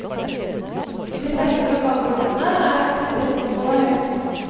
I de fleste lokalgruppene er aktivitetsnivået høyt.